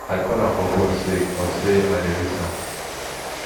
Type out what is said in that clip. i call am for fone sake of sey i dey miss am